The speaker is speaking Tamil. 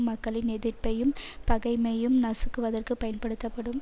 மக்களின் எதிர்ப்பையும் பகைமையும் நசுக்குவதற்கு பயன்படுத்தப்படும்